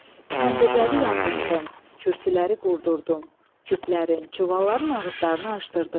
Təndirləri yandartdım, kürsüləri qurdurdum, küplərin, çuvalların ağızlarını aşdırdım.